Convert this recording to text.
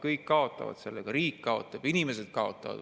Kõik kaotavad sellega: riik kaotab, inimesed kaotavad.